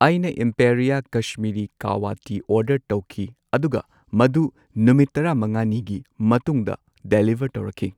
ꯑꯩꯅ ꯢꯝꯄꯦꯔꯤꯌꯥ Kashmiri kahwa tea order ꯇꯧꯈꯤ ꯑꯗꯨꯒ ꯃꯗꯨ ꯅꯨꯃꯤꯠ ꯇꯔꯥꯃꯉꯥꯅꯤꯒꯤ ꯃꯇꯨꯡꯗ ꯗꯦꯂꯤꯚꯔ ꯇꯧꯔꯛꯈꯤ꯫